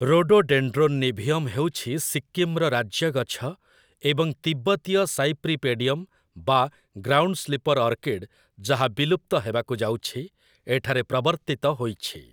Rhododendron niveum' ହେଉଛି ସିକ୍କିମ୍‌ର ରାଜ୍ୟ ଗଛ, ଏବଂ 'ତିବ୍ଦତୀୟ ସାଇପ୍ରିପେଡିୟମ୍' ବା 'ଗ୍ରାଉଣ୍ଡ ସ୍ଲିପର୍ ଅର୍କିଡ୍', ଯାହା ବିଲୁପ୍ତ ହେବାକୁ ଯାଉଛି, ଏଠାରେ ପ୍ରବର୍ତ୍ତିତ ହୋଇଛି ।